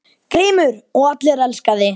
GRÍMUR: Og allir elska þig.